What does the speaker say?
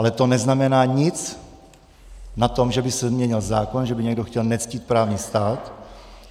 Ale to neznamená nic na tom, že by se změnil zákon, že by někdo chtěl nectít právní stát.